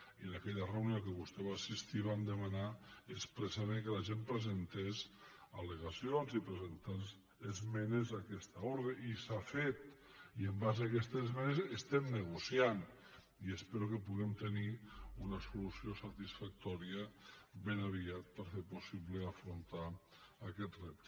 i en aquella reunió a què vostè va assistir vam demanar expressament que la gent presentés al·legacions i presentés esmenes a aquesta ordre i s’ha fet i en base a aquestes esmenes estem negociant i espero que puguem tenir una solució satisfactòria ben aviat per fer possible i afrontar aquest repte